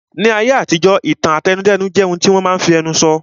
Ní ayé àtijọ́, ìtàn àtẹnudẹ́nu jẹ́ ohun tí wọ́n máa n fi ẹnu sọ